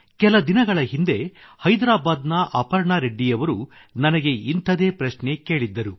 ಕೆಲ ದಿನಗಳ ಹಿಂದೆ ಹೈದ್ರಾಬಾದ್ ನ ಅಪರ್ಣಾ ರೆಡ್ಡಿಯವರು ನನಗೆ ಇಂಥದೇ ಪ್ರಶ್ನೆ ಕೇಳಿದ್ದರು